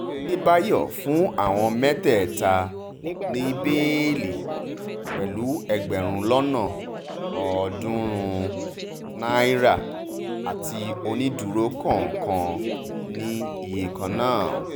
àdébáyò fún àwọn mẹ́tẹ̀ẹ̀ta ní bẹ́ẹ́lí pẹ̀lú ẹgbẹ̀rún lọ́nà lọ́nà ọ̀ọ́dúnrún-ún náírà àti onídúró kọ̀ọ̀kan ní iye kan náà